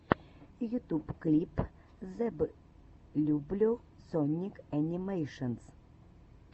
ютуб клип зэблюбле соник энимэйшенс